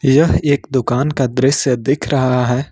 यह एक दुकान का दृश्य दिख रहा है।